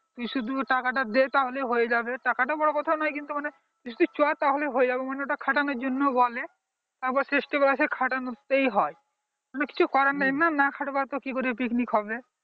শুধু টাকাটা দে তাহলে হয়ে যাবে টাকাটা বড় কথা নয় কিন্তু মানে তুই শুধু চল তাহলেই হয়ে যাবে মানে ওটা খাটানোর জন্য বলে আবার শেষ বেলাতে সেই খাটানোতেই হয় মানে কিছু করার নাই না না খাট বোতা কি করে picnic হবে